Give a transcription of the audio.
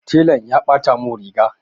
Telan ya ɓata mun riga.